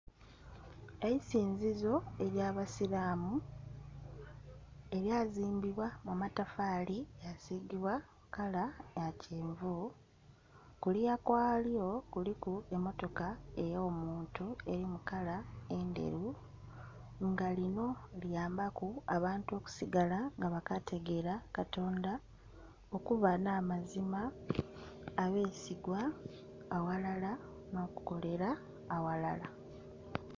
Eisinzizo erya abasiramu erya zimbibwa mumatafali lya sigibwa kala ya kyenvu kuluya kwalyo kuliku emotoka ey'omuntu eri mukala endheru nga lino liyamba ku abantu okusigala nga bakategera katonda okuba namazima, abesigwa aghalala nokukolera aghalala.